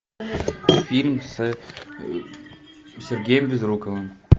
фильм с сергеем безруковым